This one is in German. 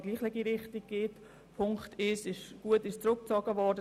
Die Ziffer 1 der Motion Schwaar ist zurückgezogen worden;